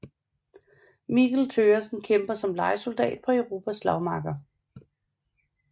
Mikkel Thøgersen kæmper som lejesoldat på Europas slagmarker